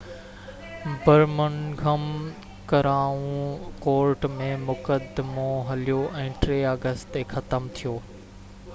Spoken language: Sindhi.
برمنگهم ڪرائون ڪورٽ ۾ مقدمو هليو ۽ 3 آگسٽ تي ختم ٿيو